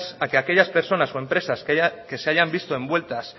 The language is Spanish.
a que aquellas personas o empresas que se hayan visito envueltas